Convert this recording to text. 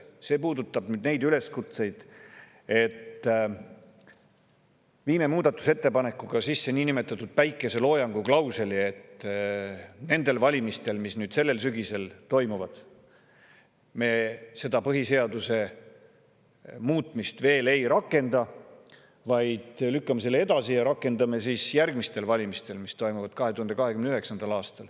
See puudutab neid üleskutseid, et viime muudatusettepanekuga sisse niinimetatud päikeseloojanguklausli, et nendel valimistel, mis sellel sügisel toimuvad, me seda põhiseaduse muudatust veel ei rakenda, vaid lükkame selle edasi ja rakendame seda järgmistel valimistel, mis toimuvad 2029. aastal.